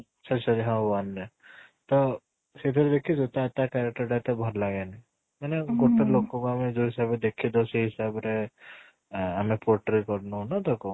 ଆଚ୍ଛା, ଆଚ୍ଛା ହଁ one ରେ ତ ସେଇଟା ଦେଖିଚୁ ତା ତା character ଟା ଏତେ ଭଲ ଲାଗେନି ମାନେ ଗୋଟେ ଲୋକ କୁ ଆମେ ଯୋଉ ହିସାବ ରେ ଦେଖିଚୁ ସେଇ ହିସାବ ରେ ଆଁ ଆମେ portrait କରିନୁ ନା ତାକୁ